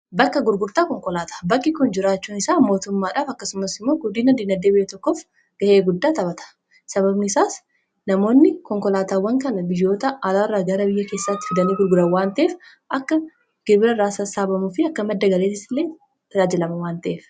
bakka gurgurtaa konkolaata bakki kun jiraachuun isaa mootummaadhaaf akkasumas immoo guddiinan diinadeebi'ee tokkoof ga'ee guddaa taphata sababni isaas namoonni konkolaataawwan kana biyyoota alaa irraa gara biyya keessatti fidanii gurgura waanteef akka girbira raasaa saabamuu fi akka madda galeets illee tiaajilama waanteef